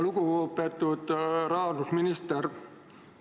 Lugupeetud rahandusminister!